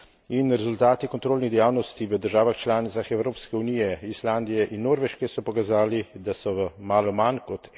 In rezultati kontrolnih dejavnosti v državah članicah Evropske unije, Islandije in Norveške, so pokazali, da so v malo manj kot